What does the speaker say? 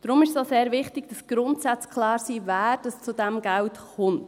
Deshalb ist es auch sehr wichtig, dass die Grundsätze dafür klar sind, wer zu diesem Geld kommt.